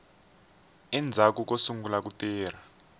endzhaku ko sungula ku tirha